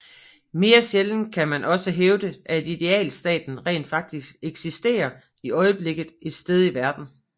Mere sjældent kan man også hævde at idealstaten rent faktisk eksisterer i øjeblikket et sted i verden